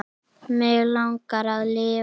Mig langar að lifa.